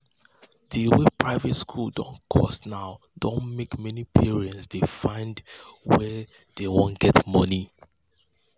the way private school dey cost more now don make many parents dey find were dey wan get money